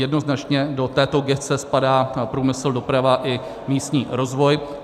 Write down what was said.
Jednoznačně do této gesce spadá průmysl, doprava i místní rozvoj.